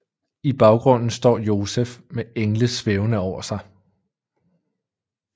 I baggrunden står Josef med engle svævende over sig